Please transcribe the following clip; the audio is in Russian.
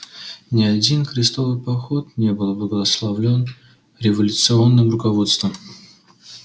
не один крестовый поход не был благословлён революционным руководством